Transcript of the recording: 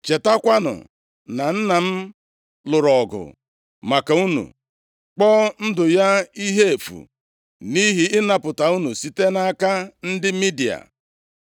Chetakwanụ na nna m lụrụ ọgụ maka unu, kpọọ ndụ ya ihe efu, nʼihi ịnapụta unu site nʼaka ndị Midia.